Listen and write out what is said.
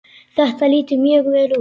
Þetta lítur mjög vel út.